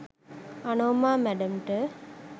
Anoma මැඩම්ට